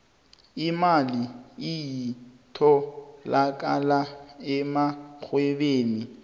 imali iyatholakala emarhwebeni